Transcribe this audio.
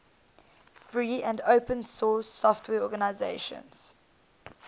free and open source software organizations